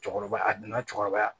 Cɔkɔrɔba a dunna cɛkɔrɔba